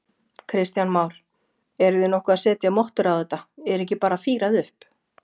Kristján Már: Eruð þið nokkuð að setja mottur á þetta, er ekki bara fírað upp?